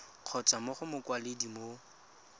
kgotsa mo go mokwaledi mo